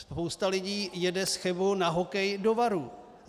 Spousta lidí jede z Chebu na hokej do Varů.